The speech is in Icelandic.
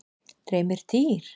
Dreymir dýr?